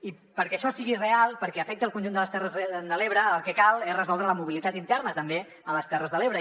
i perquè això sigui real perquè afecti el conjunt de les terres de l’ebre el que cal és resoldre la mobilitat interna també a les terres de l’ebre